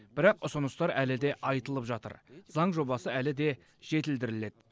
бірақ ұсыныстар әлі де айтылып жатыр заң жобасы әлі де жетілдіріледі